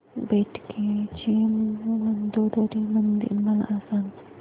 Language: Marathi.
बेटकी चे मंदोदरी मंदिर मला सांग